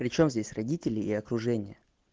причём здесь родители и окружение